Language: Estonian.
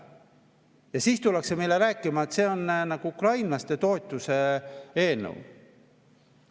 Ja siis tullakse meile rääkima, et see on ukrainlaste toetuse eelnõu.